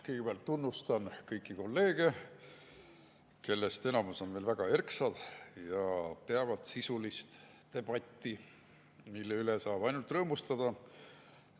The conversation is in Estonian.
Kõigepealt tunnustan kõiki kolleege, kellest enamus on väga erksad ja peavad sisulist debatti, mille üle saab ainult rõõmustada.